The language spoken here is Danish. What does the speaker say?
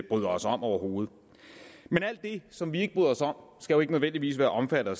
bryder os om overhovedet men alt det som vi ikke bryder os om skal jo ikke nødvendigvis være omfattet af